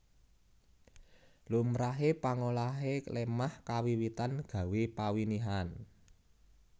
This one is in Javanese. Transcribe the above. Lumrahe pangolahe lemah kawiwitan gawé pawinihan